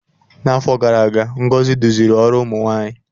N'afọ gara aga Ngozi duziri ọrụ ụmụ nwanyị.